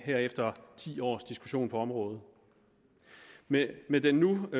her efter ti års diskussion på området med med den nu